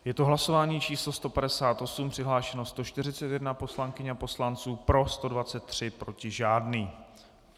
Je to hlasování číslo 158, přihlášeno 141 poslankyň a poslanců, pro 123, proti žádný.